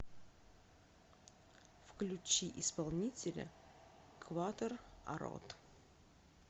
включи исполнителя кватор арод